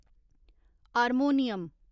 harmonium